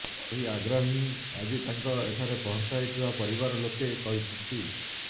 ଏହି ଆଗ୍ରହ ହିଁ ଆଜି ତାଙ୍କ ଏଠାରେ ପହଞ୍ଚାଇଥିବା ପରିବାର ଲୋକେ କହିଛନ୍ତି